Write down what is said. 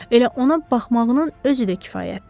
Elə ona baxmağının özü də kifayətdir.